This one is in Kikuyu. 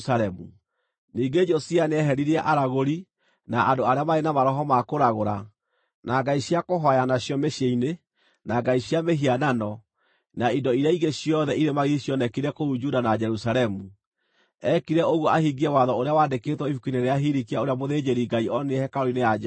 Ningĩ Josia nĩeheririe aragũri, na andũ arĩa maarĩ na maroho ma kũragũra, na ngai cia kũhooya nacio mĩciĩ-inĩ, na ngai cia mĩhianano, na indo iria ingĩ ciothe irĩ magigi cionekire kũu Juda na Jerusalemu. Eekire ũguo ahingie watho ũrĩa waandĩkĩtwo ibuku-inĩ rĩrĩa Hilikia ũrĩa mũthĩnjĩri-Ngai onire hekarũ-inĩ ya Jehova.